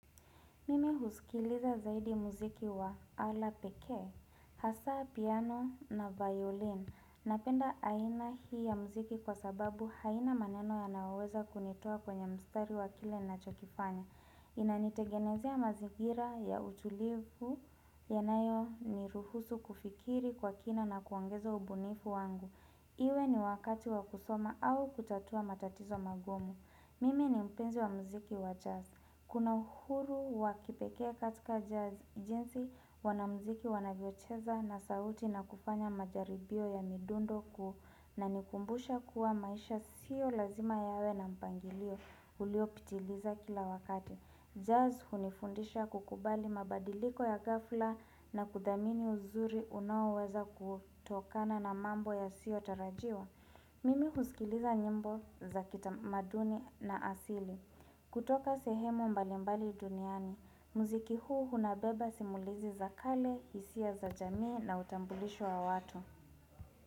Mimi husikiliza zaidi muziki wa ala pekee, hasa piano na violin. Napenda haina hii ya muziki kwa sababu haina maneno yanaoweza kunitoa kwenye mstari wakile na chokifanya. Inanitegenezea mazigira ya utulivu ya nayo ni ruhusu kufikiri kwa kina na kuongeza ubunifu wangu. Iwe ni wakati wa kusoma au kutatua matatizo magumu. Mimi ni mpenzi wa muziki wa jazz. Kuna uhuru wakipekee katika jazz jinsi wanamziki wanavyocheza na sauti na kufanya majaribio ya midundo kunanikumbusha kuwa maisha sio lazima yawe na mpangilio ulio pitiliza kila wakati. Jazz hunifundisha kukubali mabadiliko ya gafla na kudhamini uzuri unao weza kutokana na mambo yasiotarajiwa. Mimi husikiliza nyimbo za kitamaduni na asili. Kutoka sehemu mbalimbali duniani, muziki huu hunabeba simulizi za kale, hisia za jamii na utambulisho wa watu.